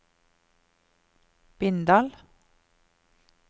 Bindal